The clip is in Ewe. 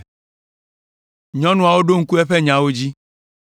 Nyɔnuawo ɖo ŋku eƒe nyawo dzi.